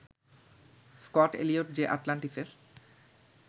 Scott-Elliot যে আটলান্টিসের